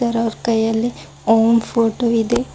ಇದರ ಅವರ್ ಕೈಯಲ್ಲಿ ಓಂ ಫೋಟೋ ಇದೆ.